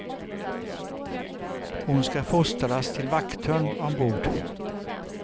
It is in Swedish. Hon ska fostras till vakthund ombord.